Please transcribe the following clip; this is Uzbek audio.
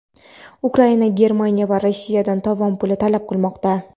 Ukraina Germaniya va Rossiyadan tovon puli talab qilmoqda.